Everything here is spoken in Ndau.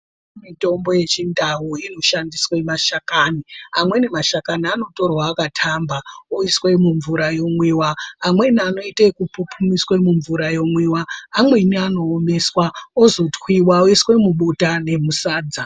Mitombo yechiNdau inoshandiswe mashakani. Amweni mashakani anotorwa akatamba oiswe mumvura yomwiwa, amweni anoite ekupupumiswe mumvura yomwiwa, amweni anoomeswa ozotwiwa oiswe mubota nemusadza.